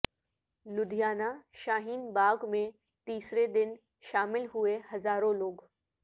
لدھیانہ شاہین باغ میں تیسرے دن شامل ہوئے ہزاروں لوگ